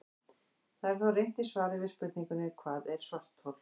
Það er þó reynt í svari við spurningunni Hvað er svarthol?